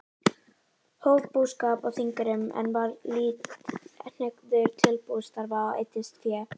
Hóf búskap á Þingeyrum, en var lítt hneigður til bústarfa og eyddist fé.